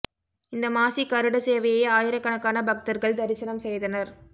இந்த மாசி கருட சேவையை ஆயிரக்கணக்கான பக்தர்கள் தரிசனம் செய்தனர்